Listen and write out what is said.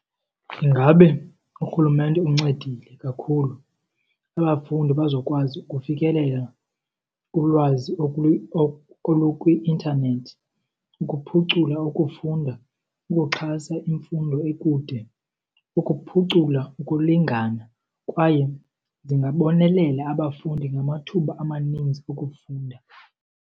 Ingabe urhulumente uncedile kakhulu abafundi bazokwazi ukufikelela kulwazi olukwi-intanethi, ukuphucula ukufunda, ukuxhasa imfundo ekude, ukuphucula ukulingana kwaye zingabonelela abafundi ngamathuba amaninzi okufunda.